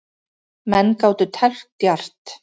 Menn gátu teflt djarft.